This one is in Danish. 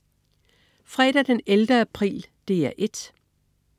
Fredag den 11. april - DR 1: